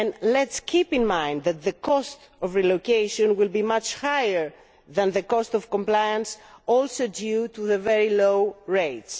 Let us keep in mind that the cost of relocation will be much higher than the cost of compliance, due also to the very low rates.